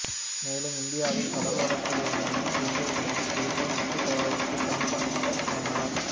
மேலும் இந்தியாவில் கடலோரத்தில் இருந்த அனைத்து இந்தியர்களையும் இது போல் உப்பு தயாரித்து பயன்படுத்தச் சொன்னார்